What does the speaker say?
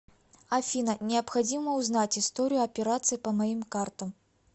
афина необходимо узнать историю операций по моим картам